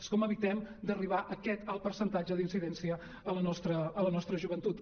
és com evitem d’arribar a aquest alt percentatge d’incidència a la nostra joventut